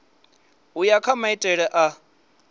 u ya kha maitele a